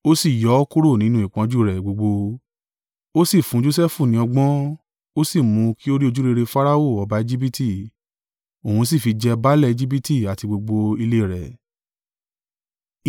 ó sì yọ ọ́ kúrò nínú ìpọ́njú rẹ̀ gbogbo. Ó sì fún Josẹfu ní ọgbọ́n, ó sì mú kí ó rí ojúrere Farao ọba Ejibiti; òun sì fi jẹ baálẹ̀ Ejibiti àti gbogbo ilé rẹ̀.